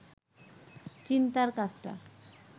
চিন্তার কাজটা